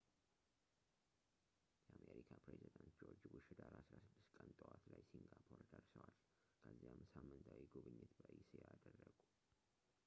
የአሜሪካ ፕሬዚዳንት ጆርጅ ቡሽ ህዳር 16 ቀን ጠዋት ላይ ሲንጋፖር ደርሰዋል ከዚያም ሳምንታዊ ጉብኝት በእስያ አደረጉ